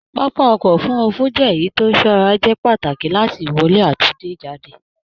Pápá ọkọ òfurùnfu jẹ èyí tó ìṣọrà jẹ pàtàkì láti ìwọlé dé ijade